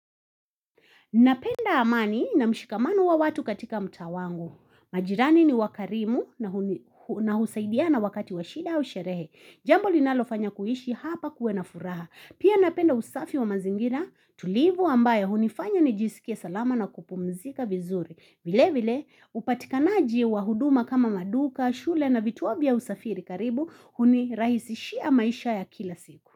Napenda amani na mshikamano wa watu katika mtaa wangu. Majirani ni wakarimu na husaidia na wakati washida au sherehe. Jambo linalofanya kuishi hapa kuwe na furaha. Pia napenda usafi wa mazingira tulivu ambaye hunifanya nijisikie salama na kupumzika vizuri. Vile vile upatikanaji wa huduma kama maduka, shule na vituo vya usafiri karibu hunirahisishia maisha ya kila siku.